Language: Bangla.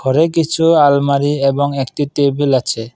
এই কিছু আলমারি এবং একটি টেবিল আছে।